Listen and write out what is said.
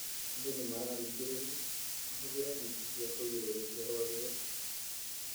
Andũ nĩ mararingĩrĩrio mahũdhire neti cia kũgĩrĩrĩria rwagĩ ũtukũ.